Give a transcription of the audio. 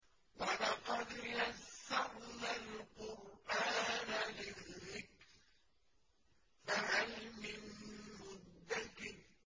وَلَقَدْ يَسَّرْنَا الْقُرْآنَ لِلذِّكْرِ فَهَلْ مِن مُّدَّكِرٍ